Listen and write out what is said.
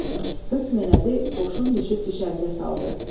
Hökm elədi, qoşun düşüb düşərgə saldı.